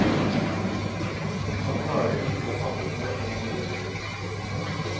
Han klarer ikke å samle seg om noe lenger. punktum